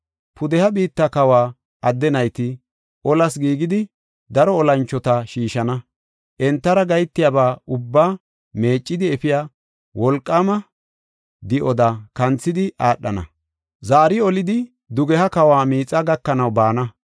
“Pudeha biitta kawa adde nayti olas giigidi, daro olanchota shiishana. Entara gahetiyaba ubbaa meeccidi efiya wolqaama di7oda kanthidi aadhana; zaari olidi dugeha kawa miixaa gakanaw baana.